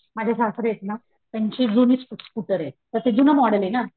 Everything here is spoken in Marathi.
माझे सासरे आहेत ना त्यांची जुनी स्कुटर आहे.पण ते जून मॉडेल आहे ना